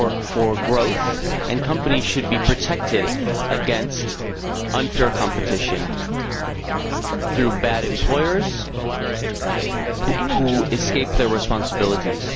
for growth and companies should be protected against unfair competition through bad employers who escape their responsibilities.